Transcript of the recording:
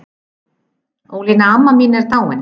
Ólína amma mín er dáin.